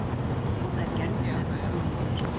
Og þær gerðu þetta, konurnar.